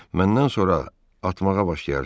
Məndən sonra atmağa başlayarsız.